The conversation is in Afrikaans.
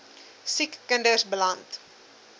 siek kinders beland